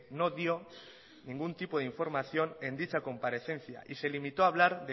no dio ningún tipo de información en dicha comparecencia y se limitó hablar